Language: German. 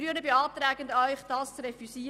Wir Grünen beantragen, das zu refüsieren.